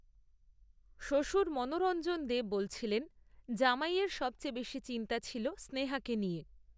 শ্বশুর মনোরঞ্জন দে বলছিলেন, জামাইয়ের সবচেয়ে বেশি চিন্তা ছিল, স্নেহাকে নিয়ে